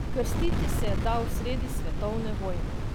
Krstiti se je dal sredi svetovne vojne.